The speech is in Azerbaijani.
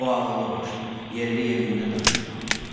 O ağıllı-başlı, yerli-yerində danışmalıdır.